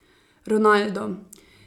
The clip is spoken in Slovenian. Ronaldo.